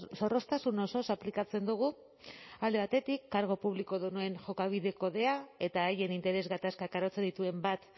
zorroztasun osoz aplikatzen dugu alde batetik kargu publikodunen jokabide kodea eta haien interes gatazkak arautzen dituen bat